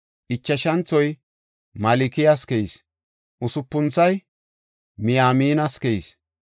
Ichashanthoy Malkiyas keyis. Usupunthoy Miyaaminas keyis.